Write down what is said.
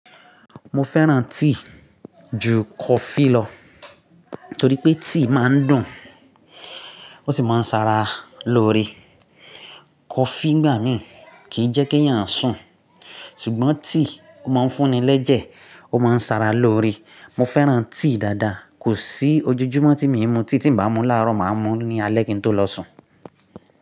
Mo fẹ́ràn tea ju coffee lọ, torí pé tea máa ń dùn, ó sì máa ń ṣara lóore. Coffee ngbà mìí kì í jẹ́ kí èèyàn sùn, ṣùgbọ́n tea ó máa ń fún ni lẹ́jẹ̀, ó máa ń ṣara lóore. Mo fẹ́ràn tea dáadáa, kò sí ojoojúmọ́ tí mii mú tea tí m bá mú láàrọ̀, màá mú ní alẹ́ kí n tó lọ sùn.